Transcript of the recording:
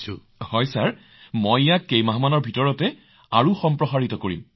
হয় মহোদয় এতিয়া মই ইয়াক কেইমাহমানৰ ভিতৰত সম্প্ৰসাৰিত কৰিম